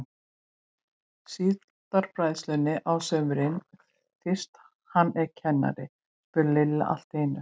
Síldarbræðslunni á sumrin fyrst hann er kennari? spurði Lilla allt í einu.